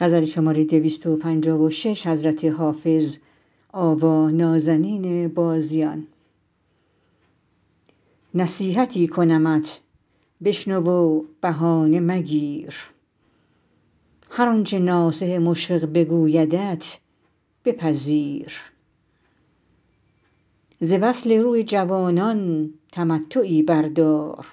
نصیحتی کنمت بشنو و بهانه مگیر هر آنچه ناصح مشفق بگویدت بپذیر ز وصل روی جوانان تمتعی بردار